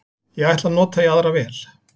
Ég ætla að nota í aðra vél